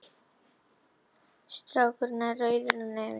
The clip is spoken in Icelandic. Strákurinn er rauður á nefinu.